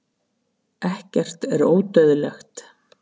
ekkert er ódauðlegt